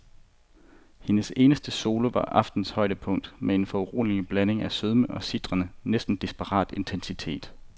Hendes eneste solo var aftenens højdepunkt med en foruroligende blanding af sødme og en sitrende, næsten desperat intensitet.